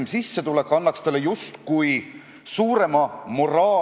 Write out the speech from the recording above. Aga minu küsimus lähtub paradoksist, et inimene, kes eesti keelt ei oska, ei saa eesti keelt risustada.